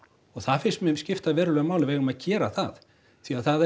það finnst mér skipta verulegu máli við eigum að gera það því það er